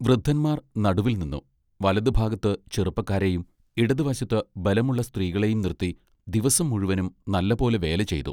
വൃദ്ധന്മാർ നടുവിൽനിന്ന് വലതുഭാഗത്ത് ചെറുപ്പക്കാരെയും ഇടത്തുവശത്ത് ബലമുള്ള സ്ത്രീകളെയും നിർത്തി ദിവസം മുഴുവനും നല്ലപോലെ വേല ചെയ്തു.